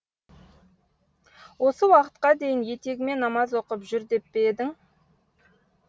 осы уақытқа дейін етегіме намаз оқып жүр деп пе едің